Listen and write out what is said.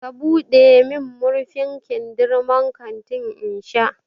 ka buɗe min murfin kindirmon kanti in sha!